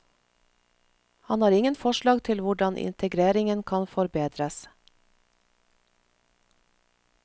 Han har ingen forslag til hvordan integreringen kan forbedres.